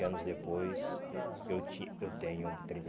anos depois, eu tin eu tenho trinta e